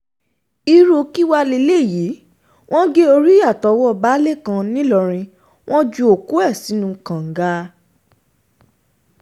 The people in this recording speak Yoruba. irú kí wàá lélẹ́yìí wọ́n gé orí àtọwọ́ baálé kan nìlọrin wọn ju òkú ẹ̀ sínú kànga